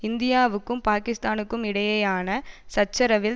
இந்தியாவுக்கும் பாகிஸ்தானுக்கும் இடையேயான சச்சரவில்